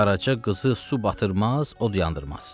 Qaraca qızı su batırmaz, od yandırmaz.